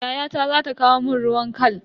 Yayata za ta kawo mun ruwan khal.